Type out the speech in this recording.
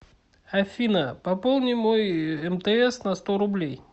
афина пополни мой мтс на сто рублей